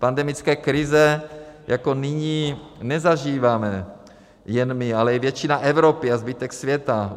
Pandemické krize jako nyní nezažíváme jen my, ale i většina Evropy a zbytek světa.